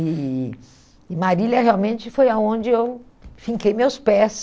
E e Marília realmente foi onde eu finquei meus pés.